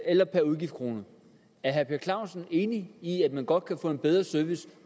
eller per udgiftskrone er herre per clausen enig i at man godt kan få en bedre service